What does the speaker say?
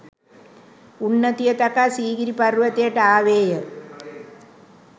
උන්නතිය තකා සීගිරි පර්වතයට ආවේය.